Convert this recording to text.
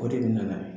O de bɛ na n'a ye